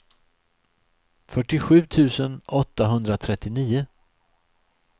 fyrtiosju tusen åttahundratrettionio